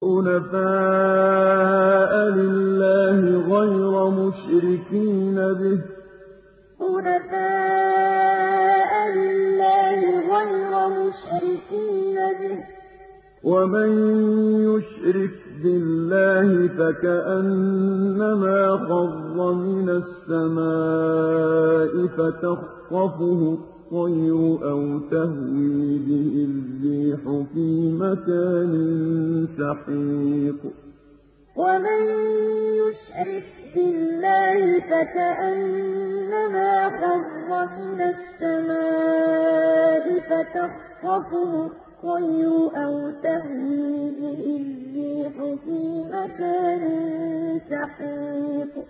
حُنَفَاءَ لِلَّهِ غَيْرَ مُشْرِكِينَ بِهِ ۚ وَمَن يُشْرِكْ بِاللَّهِ فَكَأَنَّمَا خَرَّ مِنَ السَّمَاءِ فَتَخْطَفُهُ الطَّيْرُ أَوْ تَهْوِي بِهِ الرِّيحُ فِي مَكَانٍ سَحِيقٍ حُنَفَاءَ لِلَّهِ غَيْرَ مُشْرِكِينَ بِهِ ۚ وَمَن يُشْرِكْ بِاللَّهِ فَكَأَنَّمَا خَرَّ مِنَ السَّمَاءِ فَتَخْطَفُهُ الطَّيْرُ أَوْ تَهْوِي بِهِ الرِّيحُ فِي مَكَانٍ سَحِيقٍ